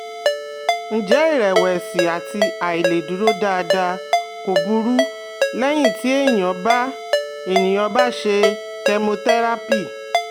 Ǹjẹ́ iìrẹ̀wẹ̀sì àti àìlèdúró dáadáa kò burú lẹ́yìn tí ènìyàn bá ènìyàn bá ṣe chemotherapy?